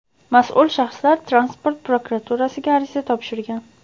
mas’ul shaxslar transport prokuraturasiga ariza topshirgan.